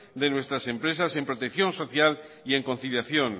de nuestras empresas en protección social y en conciliación